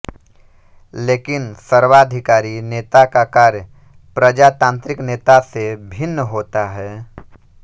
लेकिन सर्वाधिकारी नेता का कार्य प्रजातांत्रिक नेता से भिन्न होता है